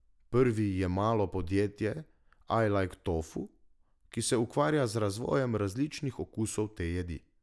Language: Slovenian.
Prvi je malo podjetje I like tofu, ki se ukvarja z razvojem različnih okusov te jedi.